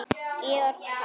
Georg Páll.